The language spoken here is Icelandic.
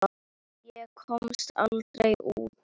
Ég komst aldrei út.